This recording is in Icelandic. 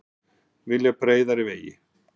Vilja breiðari vegi